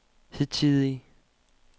hidtidige